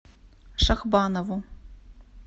шахбанову